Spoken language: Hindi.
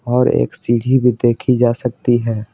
और एक सीढ़ही भी देखी जा सकती है।